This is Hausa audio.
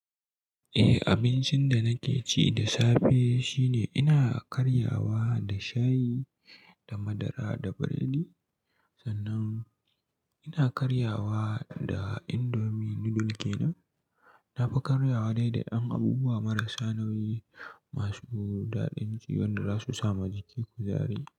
Eh, abincin da nake ci da safe shine ina karyawa da shayi da madara da biredi, sannan ina karyawa da indomi nudul kenan. Na fi karyawa dai da ƴan abubuwa marasa nauyi masu daɗin ci wanda za su sama jikiki kuzari.